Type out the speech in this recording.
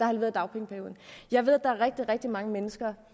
halveret dagpengeperioden jeg ved at der rigtig rigtig mange mennesker